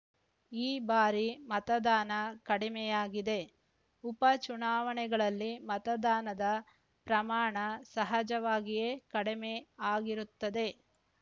ಈ ಬಾರಿ ಮತದಾನ ಕಡಿಮೆಯಾಗಿದೆ ಉಪ ಚುನಾವಣೆಗಳಲ್ಲಿ ಮತದಾನದ ಪ್ರಮಾಣ ಸಹಜವಾಗಿಯೇ ಕಡಿಮೆ ಆಗಿರುತ್ತದೆ